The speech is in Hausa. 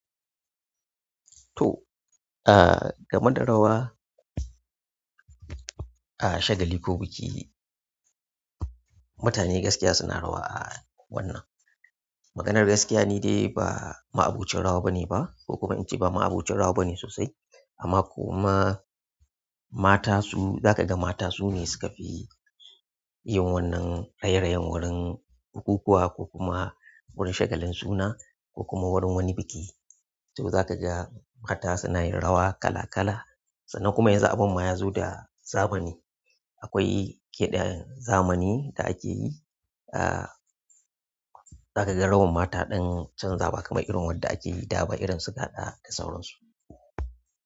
To, ah, game da rawa a shagali ko biki, mutane gaskiya suna rawa a wannan. Maganar gaskiya ni dai ba ma abocin rawa bane ba ko kuma in ce ba ma abocin rawa bane sosai amma kuma mata su, za ka ga mata su ne suka fi yin wannan raye-rayen wurin bukukuwa ko kuma wurin shagalin suna ko kuma wurin wani biki. To za ka ga mata suna yin rawa kala-kala sannan kuma yan zu abun ma ya zo da zamani. Akwai kiɗa zamani da ake yi, ah, za ka ga rawan ma ta ɗan canza ba kamar irin wanda ake yi da ba irin suga da da sauransu.